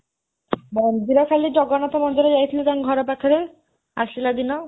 ମନ୍ଦିର, ଖାଲି ଜଗନ୍ନାଥ ମନ୍ଦିର ଯାଇଥିଲୁ ତାଙ୍କ ଘର ପାଖରେ, ଆସିଲା ଦିନ।